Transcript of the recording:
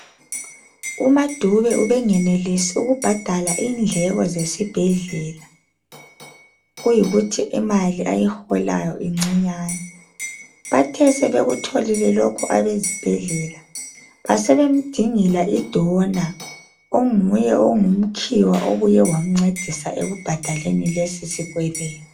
UMaDube ubengenelisi ukubhadala indleko zesibhedlela kuyikuthi imali ayiholayo incinyane bathe sebekutholile lokhu abezibhedlela basebemdingela idonor onguye ongumkhiwa obuye wamncedisa ekubhadaleni lesi sikwelede.